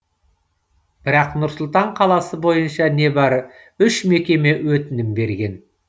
бірақ нұр сұлтан қаласы бойынша небәрі үш мекеме өтінім берген